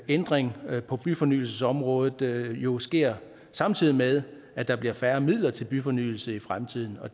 ændring på byfornyelsesområdet jo sker samtidig med at der bliver færre midler til byfornyelse i fremtiden